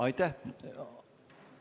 Aitäh!